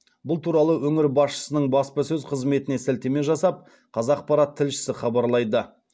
бұл туралы өңір басшысының баспасөз қызметіне сілтеме жасап қазақпарат тілшісі хабарлайды